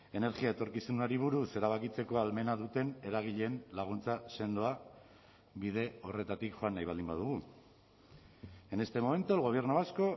energia etorkizunari buruz erabakitzeko ahalmena duten eragileen laguntza sendoa bide horretatik joan nahi baldin badugu en este momento el gobierno vasco